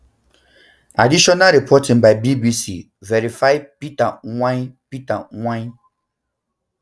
additional reporting by bbc verifys peter mwai peter mwai